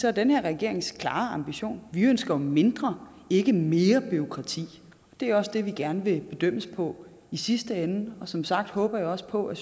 er den her regerings klare ambition at vi ønsker mindre ikke mere bureaukrati det er også det vi gerne vil bedømmes på i sidste ende og som sagt håber jeg også på at